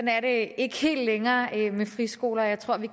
er det ikke helt længere med friskoler jeg tror at vi